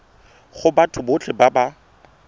go batho botlhe ba ba